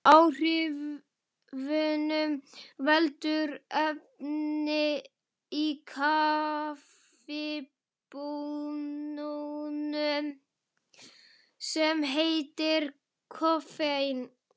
Áhrifunum veldur efni í kaffibaununum sem heitir koffein.